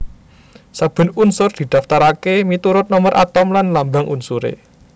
Saben unsur didaftaraké miturut nomer atom lan lambang unsuré